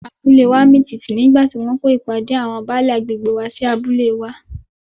Abúlée wa mì tìtì nígbà tí wọ́n kó ìpàdé àwọn Baálè agbègbè wá sí abúlé wa.